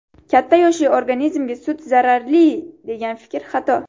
Katta yoshli organizmga sut zararli degan fikr – xato.